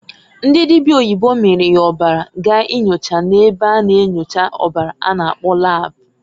Ndị dịbịa oyibo miiri ya ọbara gaa inyocha na-ebe a na-enyocha ọbara a na- akpọ lab.